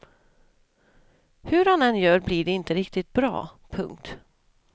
Hur han än gör blir det inte riktigt bra. punkt